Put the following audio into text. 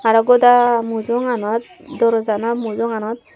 aro goda mujunganot dooroja gano mujunganot.